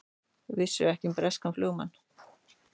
Vissu ekki um breskan flugumann